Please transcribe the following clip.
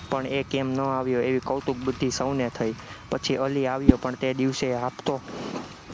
પણ એ કેમ ન આવ્યો એ કૌતુક ભુતી સૌને થઇ, પછી અલી આવ્યો પણ તે દિવસે એ હાંફતો